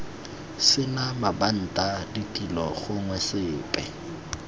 sena mabanta ditilo gongwe sepe